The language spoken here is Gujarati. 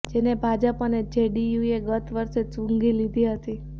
જેને ભાજપ અને જેડીયુએ ગત વર્ષે જ સૂંઘી લીધી હતી